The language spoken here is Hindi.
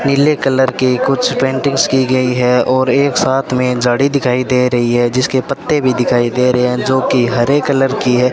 पीले कलर के कुछ पेंटिंग्स की गई है और एक साथ में झाड़ी दिखाई दे रही है जिसके पत्ते भी दिखाई दे रहे हैं जो कि हरे कलर की है।